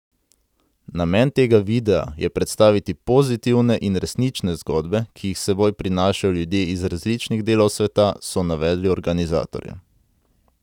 Namen tega videa je predstaviti pozitivne in resnične zgodbe, ki jih s seboj prinašajo ljudje iz različnih delov sveta, so navedli organizatorji.